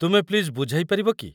ତୁମେ ପ୍ଲିଜ୍ ବୁଝାଇ ପାରିବ କି?